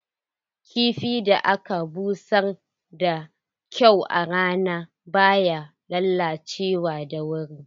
Kifin da aka busar da kyau a rana baya lalacewa da wuri.